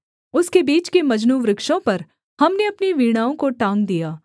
उसके बीच के मजनू वृक्षों पर हमने अपनी वीणाओं को टाँग दिया